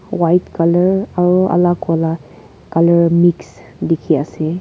white colour aro alak wala colour l colour mix dekhi ase.